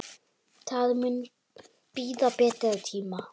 Það mun bíða betri tíma.